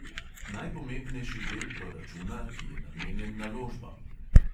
Najpomembnejši del proračuna, ki je namenjen naložbam.